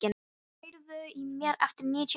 Mörk, heyrðu í mér eftir níutíu mínútur.